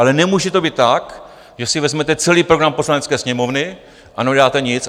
Ale nemůže to být tak, že si vezmete celý program Poslanecké sněmovny a neuděláte nic.